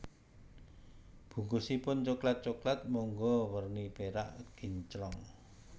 Bungkusipun coklat Coklat Monggo werni perak kinclong